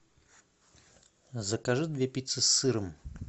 закажи две пиццы с сыром